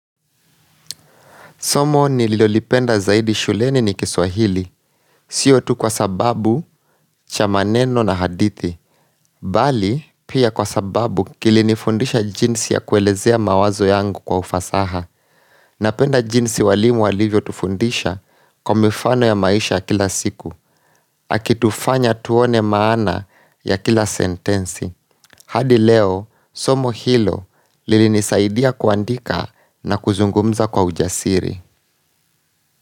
Somo nililolipenda zaidi shuleni ni kiswahili. Sio tu kwa sababu cha maneno na hadithi. Bali, pia kwa sababu, kilinifundisha jinsi ya kuelezea mawazo yangu kwa ufasaha. Napenda jinsi walimu walivyotufundisha kwa mifano ya maisha kila siku. Akitufanya tuone maana ya kila sentensi. Hadi leo, somo hilo lilinisaidia kuandika na kuzungumza kwa ujasiri.